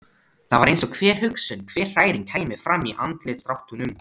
Það var eins og hver hugsun, hver hræring kæmi fram í andlitsdráttunum.